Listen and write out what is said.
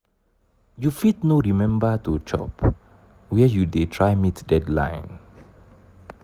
you fit no remember to chop where you dey try meet deadline.